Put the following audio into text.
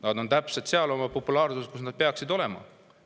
Nad on oma populaarsusega täpselt seal, kus nad peaksid olema.